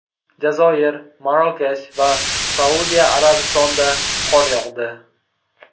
Jazoir, Marokash va Saudiya Arabistonida qor yog‘di.